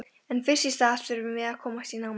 En fyrst í stað þurfum við að komast í námuna.